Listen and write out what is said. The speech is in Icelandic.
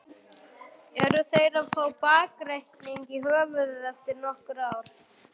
Eru þeir að fá bakreikning í höfuðið eftir nokkur ár?